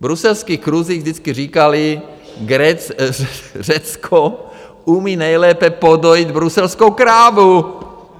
V bruselských kruzích vždycky říkali: Řecko umí nejlépe podojit bruselskou krávu.